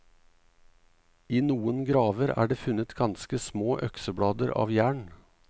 I noen graver er det funnet ganske små økseblader av jern.